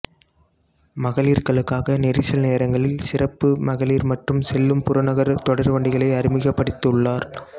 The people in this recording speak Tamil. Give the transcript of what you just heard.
மகளிர்களுக்காக நெரிசல் நேரங்களில் சிறப்பு மகளிர் மட்டும் செல்லும் புறநகர் தொடர்வண்டிகளை அறிமுகப்படுத்தியுள்ளார்